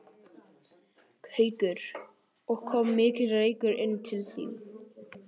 Haukur: Og kom mikill reykur inn til þín?